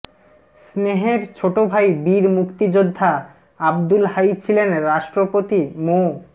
স্নেহের ছোট ভাই বীর মুক্তিযোদ্ধা আবদুল হাই ছিলেন রাষ্ট্রপতি মো